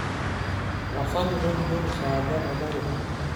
tapasali tolikioki saaja tenakuro